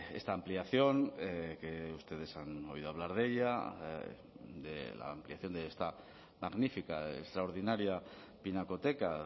esta ampliación que ustedes han oído hablar de ella de la ampliación de esta magnífica extraordinaria pinacoteca